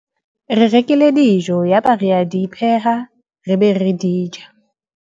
re rekile dijo yaba re a di pheha re be re di ja